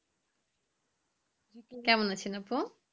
কেমন আছেন আপ্পু?